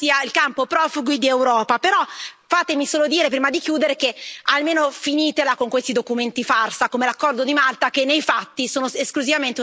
Però, fatemi solo dire prima di chiudere, che almeno finitela con questi documenti farsa, come l'accordo di Malta, che nei fatti sono esclusivamente una presa in giro nei confronti dei cittadini europei.